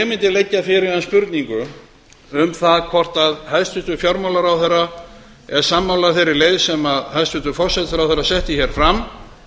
mundi leggja fyrir hann spurningu um það hvort hæstvirtur fjármálaráðherra er sammála þeirri leið sem hæstvirtur forsætisráðherra setti fram